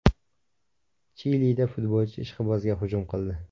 Chilida futbolchi ishqibozga hujum qildi.